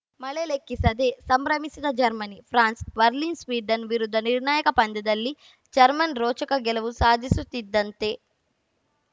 ಮಳೆ ಲೆಕ್ಕಿಸದೆ ಸಂಭ್ರಮಿಸಿದ ಜರ್ಮನಿ ಫ್ಯಾನ್ಸ್‌ ಬರ್ಲಿನ್‌ ಸ್ವೀಡನ್‌ ವಿರುದ್ಧ ನಿರ್ಣಾಯಕ ಪಂದ್ಯದಲ್ಲಿ ಜರ್ಮನ್ ರೋಚಕ ಗೆಲುವು ಸಾಧಿಸುತ್ತಿದ್ದಂತೆ